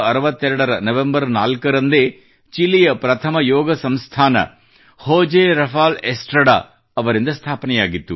1962 ರ ನವೆಂಬರ್ 4ರಂದೇ ಚಿಲಿಯ ಪ್ರಥಮ ಯೋಗ ಸಂಸ್ಥಾನ ಹೋಜೆ ರಫಾಲ್ ಎಸ್ಟ್ರಡಾ ಅವರಿಂದ ಸ್ಥಾಪನೆಯಾಗಿತ್ತು